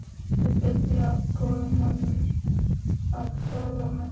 Viltu biðja góða manninn að svæfa þig?